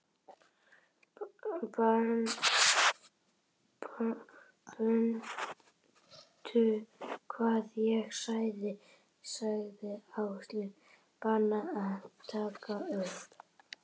Mundu hvað ég sagði sagði Áslaug, bannaðu henni að taka upp